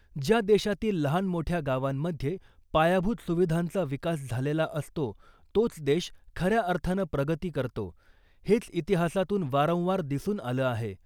ज्या देशातील लहान मोठ्या गावांमध्ये पायाभूत सुविधांचा विकास झालेला असतो तोच देश खऱ्या अर्थानं प्रगती करतो , हेच इतिहासातून वारंवार दिसून आलं आहे .